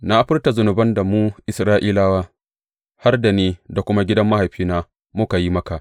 Na furta zunuban da mu Isra’ilawa, har da ni da kuma gidan mahaifina muka yi maka.